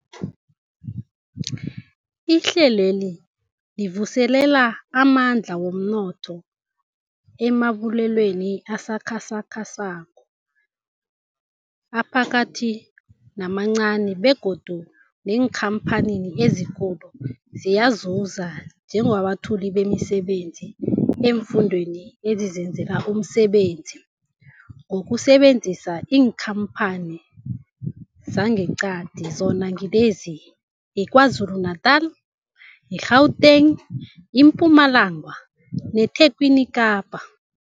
Ihlelweli livuselela amandla womnotho emabubulweni asakhasako, aphakathi namancani begodu neenkhamphani ezikulu ziyazuza njengabethuli bemisebenzi eemfundeni ezizenzela umsebenzi ngokusebenzisa iinkhamphani zangeqadi, zona ngilezi, yiKwaZulu-Natala, i-Gauteng, iMpumalanga neTlhagwini Kapa.